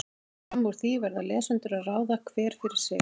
Fram úr því verða lesendur að ráða, hver fyrir sig.